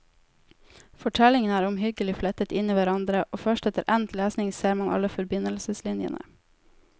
Fortellingene er omhyggelig flettet inn i hverandre, og første etter endt lesning ser man alle forbindelseslinjene.